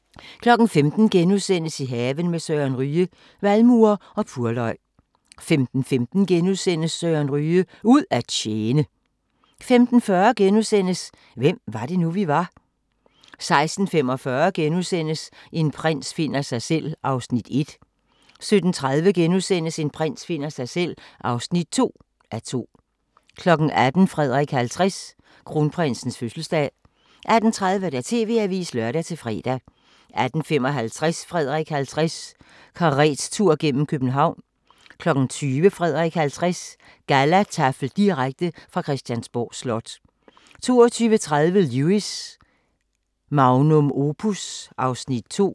15:00: I haven med Søren Ryge: Valmuer og purløg * 15:15: Søren Ryge: Ud at tjene * 15:40: Hvem var det nu, vi var? * 16:45: En prins finder sig selv (1:2)* 17:30: En prins finder sig selv (2:2)* 18:00: Frederik 50: Kronprinsens fødselsdag 18:30: TV-avisen (lør-fre) 18:55: Frederik 50: Karettur gennem København 20:00: Frederik 50: Gallataffel direkte fra Christiansborg Slot 22:30: Lewis: Magnum opus (Afs. 2)